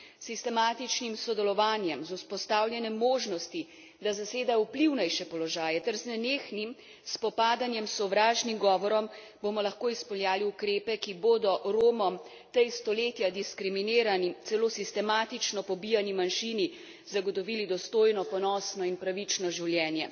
S sistematičnim sodelovanjem, z vzpostavljanjem možnosti, da zasedejo vplivnejše položaje, ter z nenehnim spopadanjem s sovražnim govorom bomo lahko izpeljali ukrepe, ki bodo Romom, tej stoletja diskriminani, celo sistematično pobijani manjšini, zagotovili dostojno, ponosno in pravično življenje.